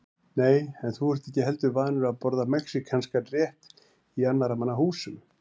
Nei, en þú ert ekki heldur vanur að borða mexíkanskan rétt í annarra manna húsum